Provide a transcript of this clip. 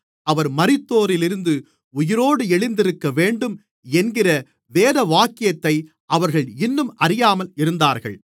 அவர் மரித்தோரிலிருந்து உயிரோடு எழுந்திருக்கவேண்டும் என்கிற வேதவாக்கியத்தை அவர்கள் இன்னும் அறியாமல் இருந்தார்கள்